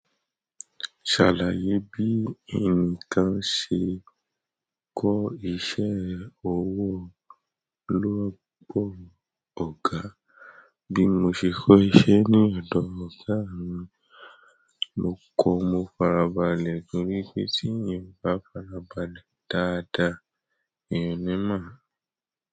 Ṣàlàyé bí ẹnìkan ṣe kọ́ iṣẹ́ ọwọ́ lọ́wọ́ ọ̀gá. Bí mo ṣe kọ́ iṣẹ́ ní ọ̀dọ̀ ọ̀gá mi, mo kọ mo farabalẹ̀ torí pé téèyàn ò bá farabalẹ̀ dáadáa, èèyàn ò ní mọ̀.